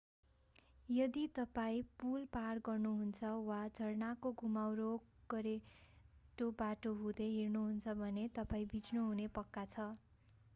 यदि तपाईं पुल पार गर्नुहुन्छ वा झरनाको घुमाउरो गोरेटो बाटो हुँदै हिँड्नुहुन्छ भने तपाईं भिज्नुहुने पक्का छ